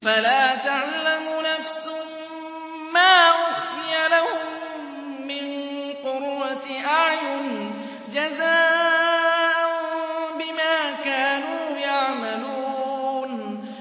فَلَا تَعْلَمُ نَفْسٌ مَّا أُخْفِيَ لَهُم مِّن قُرَّةِ أَعْيُنٍ جَزَاءً بِمَا كَانُوا يَعْمَلُونَ